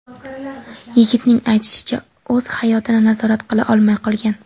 Yigitning aytishicha, o‘z hayotini nazorat qila olmay qolgan.